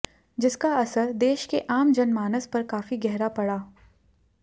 जिसका असर देश के आम जनमानस पर काफी गहरा पड़ा